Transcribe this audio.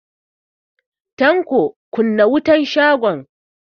Tanko, kunna wutan shagon.